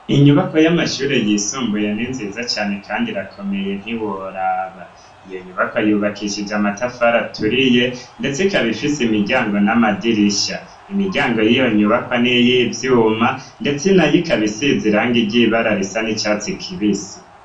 Inyubakwa y'amashure yisumbuye ni nziza cane kandi irakomeye ntiworaba. Iyo nyubakwa yubakishije amatafari aturiye, ndetse ikaba ifise imiryango n'amadirisha. Imiryango y'iyo nyubakwa n'iy' ivyuma, ndetsenayo ikaba isize ibara risa n'icatsi kibisi.